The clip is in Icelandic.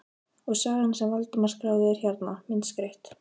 Og sagan sem Valdimar skráði er hérna, myndskreytt.